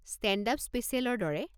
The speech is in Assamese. ষ্টে'ণ্ড-আপ স্পেছিয়েলৰ দৰে।